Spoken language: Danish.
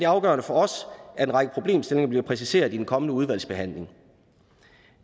afgørende for os at en række problemstillinger bliver præciseret i en kommende udvalgsbehandling